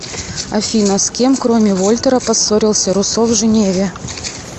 афина с кем кроме вольтера поссорился руссо в женеве